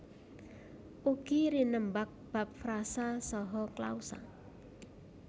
Ugi rinembag bab frasa saha klausa